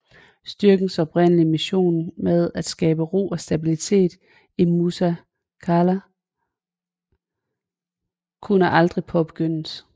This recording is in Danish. Styrkens oprindelige mission med at skabe ro og stabilitet i Musa Qala kunne aldrig påbegyndes